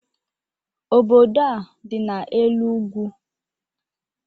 Obodo a dị n'elu ugwu.